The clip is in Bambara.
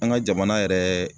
An ŋa jamana yɛrɛ